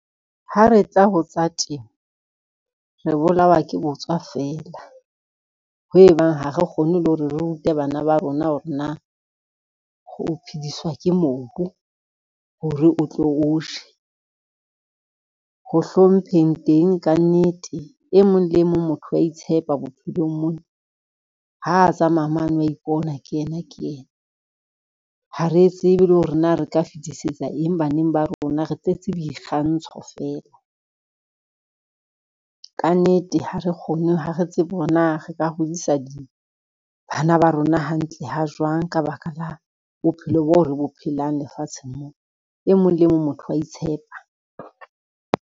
Ha re tla ho tsa temo, re bolawa ke botswa feela, ho ebang ha re kgone le ho re rute bana ba rona hore na ho phediswa ke mobu hore o tlo o je. Ho hlompheng teng ka nnete e mong le e mong motho wa itshepa bophelong mona, ha tsamaya mane wa ipona ke yena ke yena, ha re tsebe le hore na re ka fetisetsa eng baneng ba rona, re tletse boikgantsho fela. Ka nnete ha re tsebe hore na re ka hodisa bana ba rona hantle ha jwang ka baka la bophelo bo re bo phelang lefatsheng mo, e mong le mong motho wa itshepa.